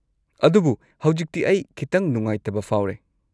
ꯑꯗꯨꯕꯨ ꯍꯧꯖꯤꯛꯇꯤ ꯑꯩ ꯈꯤꯇꯪ ꯅꯨꯡꯉꯥꯏꯇꯕ ꯐꯥꯎꯔꯦ꯫